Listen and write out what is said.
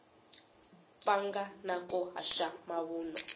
pfanga na ku haxa mavunwa